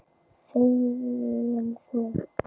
Þegi þú!